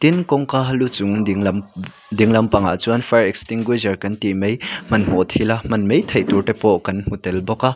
tin kawngka lu chung ding lam ding lam pangah chuan fire extinguisher kan tih mai hmanhmawh thila hman mai theih tur te pawh kan hmu tel bawk a.